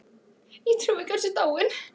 Ég trúi ekki að hún sé dáin.